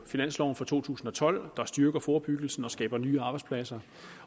finansloven for to tusind og tolv der styrker forebyggelse og skaber nye arbejdspladser